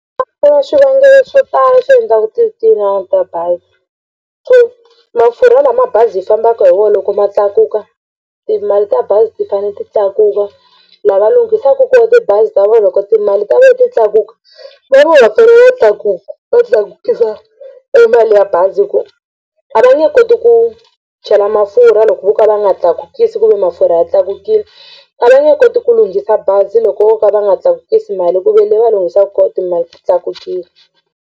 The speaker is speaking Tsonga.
A ku na swivangelo swo tala swi endlaka ti ta bazi ku mafurha lama mabazi hi fambaka hi wona loko ma tlakuka timali ta bazi ti fanele ti tlakuka lava lunghisaka kona tibazi ta vona loko timali ta vona ti tlakuka va fanele va tlakuka va tlakukisa mali ya bazi hi ku a va nge koti ku chela mafurha loko vo ka va nga tlakukisa kumbe mafurha ya tlakukile a va nga koti ku lunghisa bazi loko vo ka va nga tlakukisi mali ku ve ni le va lunghisa koho timali tlakukile.